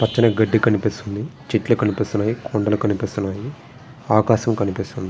పచ్చని గడ్డి కనిపిస్తుంది. చెట్లు కనిపిస్తున్నాయి. కొండలు కనిపిస్తున్నాయి. ఆకాశం కనిపిస్తుంది.